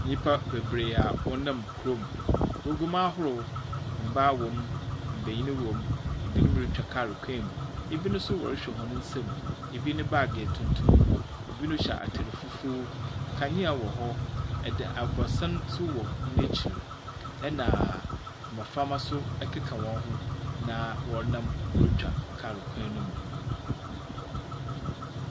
Nyimpa beberee a wɔnam kurom, wogu mu ahorow, mbaa wɔ mu, mbanyin so wɔ mu. Binom rutwa kaar kwan mu, binom so rohwɛ hɔn nsamu. Bi ne baage yɛ tuntum, binom hyɛ atar fufuw. Da aborɔsan so wɔ hɔn ekyir, na mboframba so wɔkeka hɔnho na wɔnam worutwa kaar kwan mu.